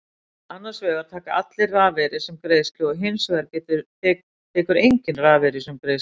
Annars vegar taka allir rafeyri sem greiðslu og hins vegar tekur enginn rafeyri sem greiðslu.